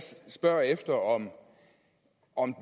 spørger efter om